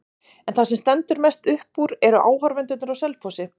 En það sem stendur mest upp úr eru áhorfendurnir á Selfossi.